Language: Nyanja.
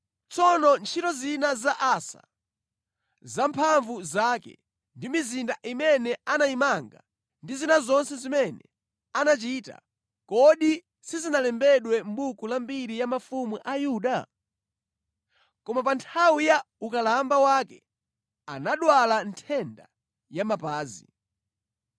Tsono ntchito zina za Asa, za mphamvu zake ndi mizinda imene anayimanga ndi zina zonse zimene anachita, kodi sizinalembedwe mʼbuku la mbiri ya mafumu a Yuda? Koma pa nthawi ya ukalamba wake anadwala nthenda ya mapazi.